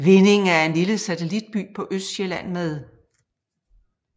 Vindinge er en lille satellitby på Østsjælland med